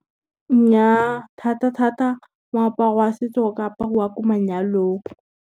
Nnyaa, thata-thata moaparo wa setso o ka apariwa ko manyalong.